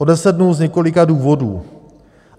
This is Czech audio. O deset dnů z několika důvodů.